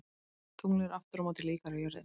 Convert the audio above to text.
Tunglið er aftur á móti líkara jörðinni.